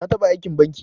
Ta taba Aikin banki.